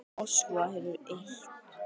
Moskva hefur eitt.